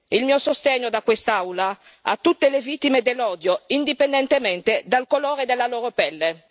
Il mio sostegno da quest'Aula a tutte le vittime dell'odio, indipendentemente dal colore della loro pelle.